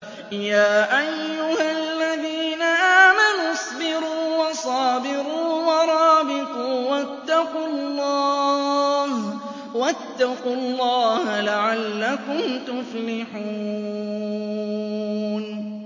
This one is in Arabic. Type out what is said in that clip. يَا أَيُّهَا الَّذِينَ آمَنُوا اصْبِرُوا وَصَابِرُوا وَرَابِطُوا وَاتَّقُوا اللَّهَ لَعَلَّكُمْ تُفْلِحُونَ